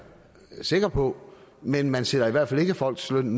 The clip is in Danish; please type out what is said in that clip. sikker på men man sætter i hvert fald ikke folks løn